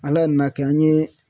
Ala nan'a kɛ an ye